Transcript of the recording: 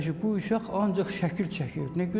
əşi, bu uşaq ancaq şəkil çəkir, nə gözəl çəkir.